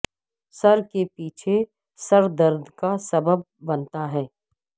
سر کے پیچھے سر درد کا سبب بنتا ہے